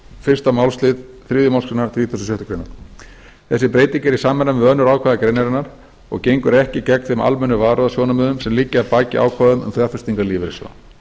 fyrstu málsl þriðju málsgrein þrítugustu og sjöttu grein þessi breyting er í samræmi við önnur ákvæði greinarinnar og gengur ekki gegn þeim almennu varúðarsjónarmiðum sem liggja að baki ákvæðum um fjárfestingar lífeyrissjóða